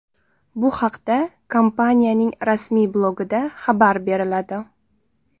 Bu haqda kompaniyaning rasmiy blogida xabar beriladi.